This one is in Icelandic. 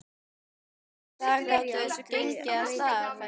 Einsog þú veist fer ég aldrei á veitingahús.